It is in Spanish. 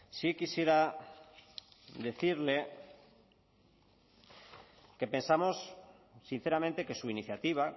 sí quisiera decirle que pensamos sinceramente que su iniciativa